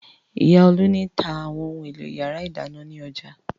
Ìyá Olú ni tá àwọn ohun-èlò ìyàrá-ìdáná ní ọjà.